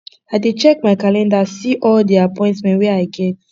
i dey check my calendar see all all di appointment wey i get